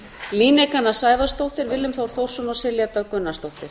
líneik anna sævarsdóttir willum þór þórsson silja dögg gunnarsdóttir